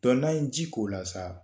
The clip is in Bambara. Dɔn n'an ye ji k'o la sa